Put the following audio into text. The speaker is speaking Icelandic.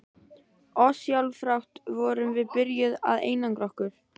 Ósjálfrátt vorum við byrjuð að einangra okkur.